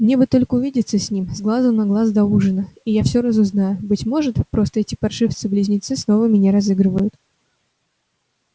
мне бы только увидеться с ним с глазу на глаз до ужина и я всё разузнаю быть может просто эти паршивцы-близнецы снова меня разыгрывают